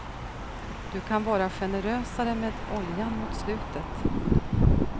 Du kan vara generösare med oljan mot slutet.